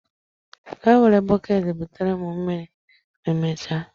Gaa were bọket butere m mmiri ma emechaa.